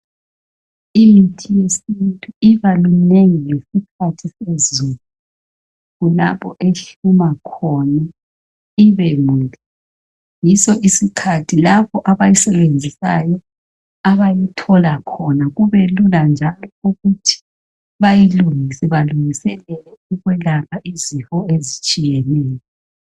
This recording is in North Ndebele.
Imithi yesintu ibaminengi ngesikhathi sezulu kulapho ehluma khona ibemihle, yiso isikhathi labo abayisebenzisayo abayithiola khona kubelula njalo ukuthi bayilungise, balungisele ukwelapha izifo ezitshiyeneyo.